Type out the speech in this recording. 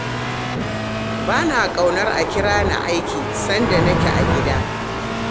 Ba na ƙaunar a kira ni aiki sanda nake a gida